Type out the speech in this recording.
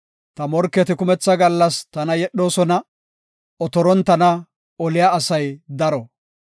Ta morketi kumetha gallas tana yedhoosona; otoron tana oliya asay daro.